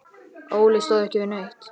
Óli stóð ekki við neitt.